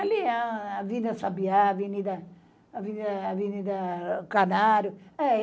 Ali é a Avenida Sabiá, Avenida Avenida Avenida Canário.